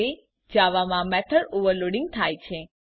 આ રીતે જાવામાં મેથોડ ઓવરલોડિંગ થાય છે